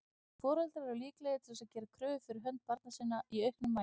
Foreldrar eru líklegir til að gera kröfur fyrir hönd barna sinna í auknum mæli.